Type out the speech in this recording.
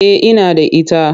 Eh ina da ita.